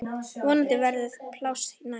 Vonandi verður pláss næst.